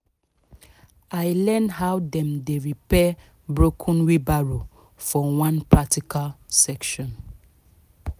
i learn how dem dey repair broken wheelbarrow for one practical session